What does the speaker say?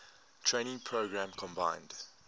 training program combined